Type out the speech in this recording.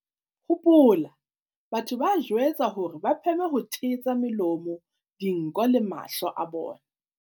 "Hopola, batho ba jwetswa hore ba pheme ho thetsa melomo, dinko le mahlo a bona."